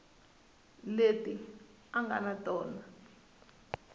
leti a nga na tona